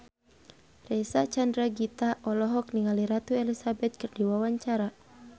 Reysa Chandragitta olohok ningali Ratu Elizabeth keur diwawancara